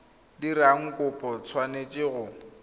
dirang kopo o tshwanetse go